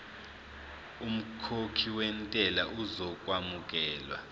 umkhokhi wentela uzokwamukelwa